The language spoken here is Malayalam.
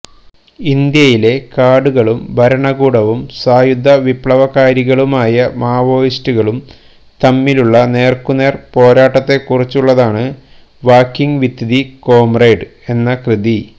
ഇന്ത്യയിലെ കാടുകളും ഭരണകൂടവും സായുധ വിപ്ലവകാരികളുമായ മാവോയിസ്റ്റുകളും തമ്മിലുള്ള നേര്ക്കുനേര് പോരാട്ടത്തേക്കുറിച്ചുള്ളതാണ് വാക്കിംഗ് വിത്ത് ദി കൊമ്രേഡ് എന്ന കൃതി